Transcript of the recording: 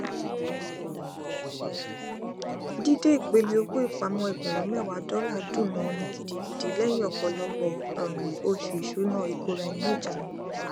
dídé ìpele owó ìpamọọ ẹgbẹrún mẹwàá dọlà dùn mọọn ni gidigidi lẹyìn ọpọlọpọ um oṣù ìṣúná ìkóraẹniníjánu